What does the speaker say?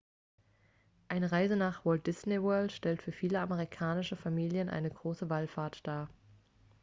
eine reise nach walt disney world stellt für viele amerikanische familien eine große wallfahrt dar